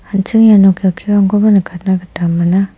an·ching iano kelkirangkoba nikatna gita man·a.